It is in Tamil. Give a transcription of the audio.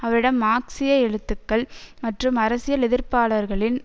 அவரிடம் மார்க்சிய எழுத்துக்கள் மற்றும் அரசியல் எதிர்ப்பாளர்களின்